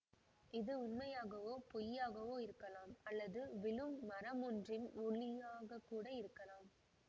இது உண்மையாகவோ பொய்யாகவோ இருக்கலாம் அல்லது விழும் மரமொன்றின் ஒலியாகக்கூட இருக்கலாம்